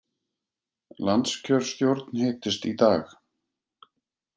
Landskjörstjórn hittist í dag